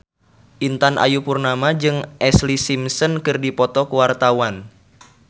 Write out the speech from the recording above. Intan Ayu Purnama jeung Ashlee Simpson keur dipoto ku wartawan